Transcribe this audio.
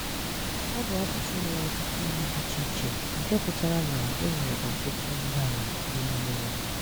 Ọ bụ asụsụ nwere ọtụtụ olu dị iche iche, nke pụtara na e nwere ọtụtụ ndàala dị n’ime ya.